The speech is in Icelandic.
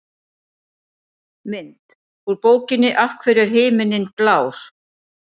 Mynd: Úr bókinni Af hverju er himinninn blár?